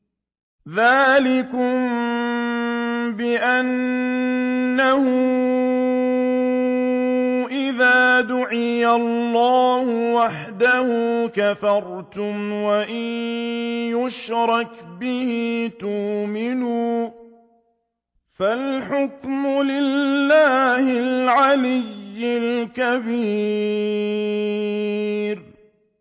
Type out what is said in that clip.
ذَٰلِكُم بِأَنَّهُ إِذَا دُعِيَ اللَّهُ وَحْدَهُ كَفَرْتُمْ ۖ وَإِن يُشْرَكْ بِهِ تُؤْمِنُوا ۚ فَالْحُكْمُ لِلَّهِ الْعَلِيِّ الْكَبِيرِ